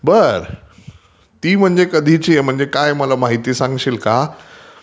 बार...ती म्हणजे काय कधीची आहे? मला काही माहिती सांगशील का?